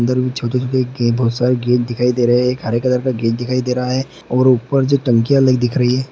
इधर भी छोटे-छोटे गे बहुत सारे गेट दिखाई दे रहे हैं एक हरे कलर का गेट दिखाई दे रहा हैं और ऊपर जो टंकिया दिख रही हैं।